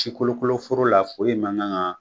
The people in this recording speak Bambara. Si kolokoloforo la foyi man gan kan